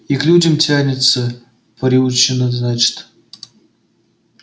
и к людям тянется приучена значит